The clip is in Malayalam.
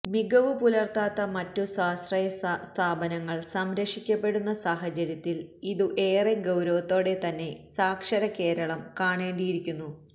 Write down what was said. മികവു പുലര്ത്താത്ത മറ്റു സ്വയാശ്രയ സ്ഥാപനങ്ങള് സംരക്ഷിക്കപ്പെടുന്ന സാഹചര്യത്തില് ഇതു ഏറെ ഗൌരവത്തോടെ തന്നെ സാക്ഷര കേരളം കാണേണ്ടിയിരിക്കുന്നു